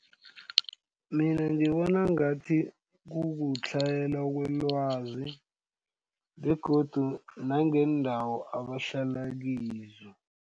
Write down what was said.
Mina ngibona ngathi kukutlhayela kwelwazi begodu nangendawo abahlala kizo.